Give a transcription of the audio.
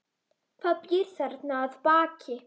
Hvað býr þarna að baki?